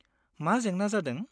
मा जेंना जादों?